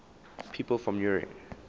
people from eure